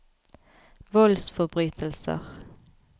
voldsforbrytelser